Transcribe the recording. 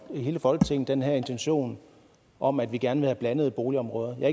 hele folketinget den her intention om at vi gerne vil have blandede boligområder jeg